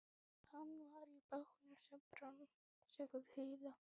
Hann var í bátnum sem brann, sagði Heiða.